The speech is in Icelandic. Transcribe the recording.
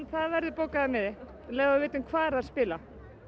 það verður bókaður miði um leið og við vitum hvar þær spila